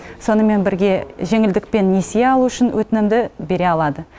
сонымен бірге жеңілдікпен несие алу үшін өтінімді бере алады